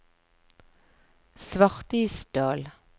Svartisdal